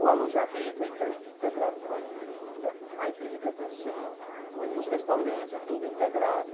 O alojamento é inte integrado com a prefeitura, a empresa de aviação, o os restaurantes, é tudo integrado.